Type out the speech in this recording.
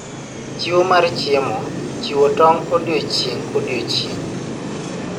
Chiwo mar chiemo, chiwo tong' odiechieng' kodiechieng'.